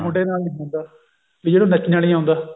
ਮੁੰਡੇ ਨਾਲ ਨੀ ਹੁੰਦਾ ਵੀ ਜਿਹਨੂੰ ਨੱਚਣਾ ਨਹੀਂ ਆਉਂਦਾ